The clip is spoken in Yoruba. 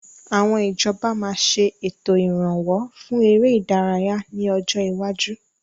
Àwọn ìjọba máa ṣe ètò Ìrànwọ́ fún ère ìdárayá ni ọjọ́ iwáju.